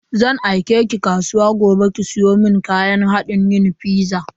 Zan aike ki zuwa kasuwa gobe ki siyo mun kayan hadin yin fiza.